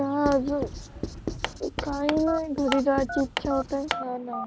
आह अजून काही नाही घरी जायची इच्छा होते